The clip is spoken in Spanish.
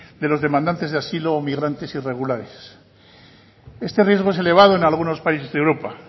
de los demandantes de asilo o migrantes irregulares este riesgo es elevado en algunos países de europa